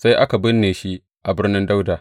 Sai aka binne shi a Birnin Dawuda.